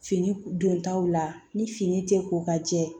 Fini don taw la ni fini tɛ ko ka jɛ